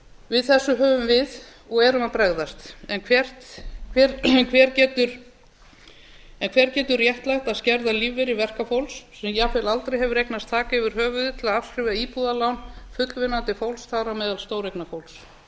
við þessu höfum við og erum að bregðast en hver getur réttlætt að skerða lífeyri verkafólks sem jafnvel aldrei hefur eignast þak yfir höfuðið til að afskrifa íbúðarlán fullvinnandi fólks þar á meðal stóreignafólks